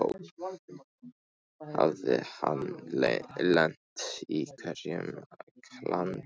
Hafði hann lent í einhverju klandri?